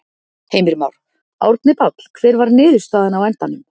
Heimir Már: Árni Páll, hver var niðurstaðan á endanum?